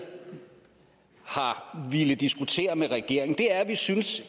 har villet diskutere med regeringen er at vi synes